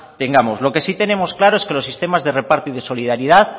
tengamos lo que si tenemos claro es que los sistemas de reparto y de solidaridad